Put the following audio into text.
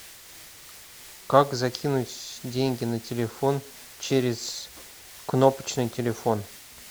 как закинуть деньги на телефон через кнопочный телефон